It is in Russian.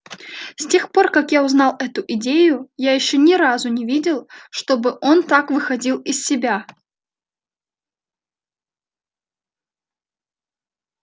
с тех пор как я узнал эту идею я ещё ни разу не видел чтобы он так выходил из себя